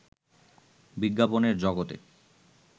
বিজ্ঞাপনের জগতে